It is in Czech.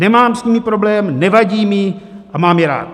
Nemám s nimi problém, nevadí mi, a mám je rád.